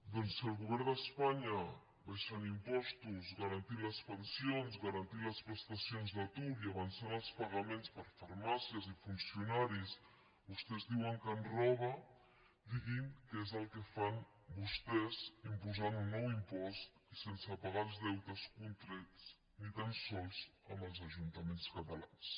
doncs si el govern d’espanya abaixant impostos garantint les pensions garantint les prestacions d’atur i avançant els pagaments per a farmàcies i funcionaris vostès diuen que ens roba diguin què és el que fan vostès imposant un nou impost i sense pagar els deutes contrets ni tan sols amb els ajuntaments catalans